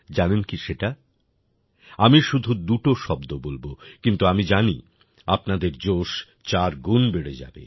জানেন কি সেটা আমি শুধু দুটো শব্দ বলব কিন্তু আমি জানি আপনাদের জোশ চারগুণ বেড়ে যাবে